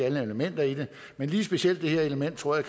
alle elementer i det men lige specielt det her element tror jeg